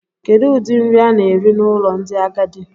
Kedu ụdị nri a na-eri n'ụlọ ndị agadi?